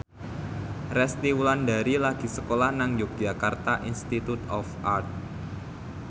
Resty Wulandari lagi sekolah nang Yogyakarta Institute of Art